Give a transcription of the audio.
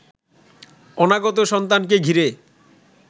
অনাগত সন্তানকে ঘিরে